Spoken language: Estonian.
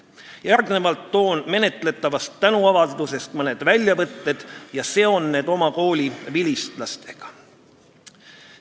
Järgnevalt toon menetletavast tänuavaldusest mõned väljavõtted ja seon need oma kooli vilistlastega.